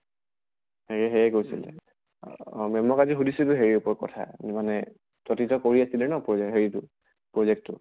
সেয়ে সেয়ে কৈছিলে। আহ ma'am ক আজি সুধিছো যে হেৰিৰ ওপৰত কথা মানে তই তেতিয়া কৰি আছিলি ন project হেৰি তো project টো